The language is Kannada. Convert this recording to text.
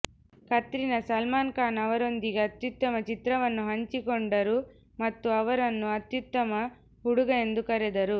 ಕತ್ರಿನಾ ಸಲ್ಮಾನ್ ಖಾನ್ ಅವರೊಂದಿಗೆ ಅತ್ಯುತ್ತಮ ಚಿತ್ರವನ್ನು ಹಂಚಿಕೊಂಡರು ಮತ್ತು ಅವರನ್ನು ಅತ್ಯುತ್ತಮ ಹುಡುಗ ಎಂದು ಕರೆದರು